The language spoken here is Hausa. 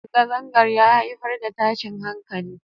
Zangazangan ya haifar da tashin hankali.